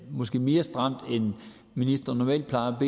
måske mere stramt end ministre normalt plejer at